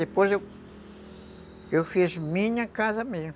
Depois eu fiz minha casa mesmo.